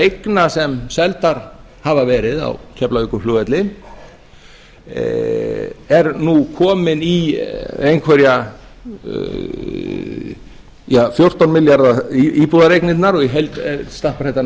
eigna sem seldar hafa verið á keflavíkurflugvelli er nú komin í einhverja fjórtán milljarða íbúðareignirnar og í heild stappar þetta